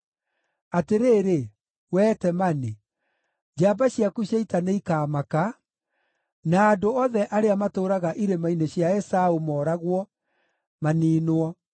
Atĩrĩrĩ, wee Temani, njamba ciaku cia ita nĩikaamaka, na andũ othe arĩa matũũraga irĩma-inĩ cia Esaũ mooragwo, maniinwo.